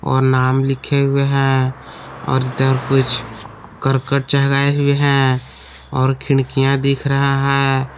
और नाम लिखे हुए हैं और इधर कुछ करकट भी हैं और खिड़कियां दिख रहा है।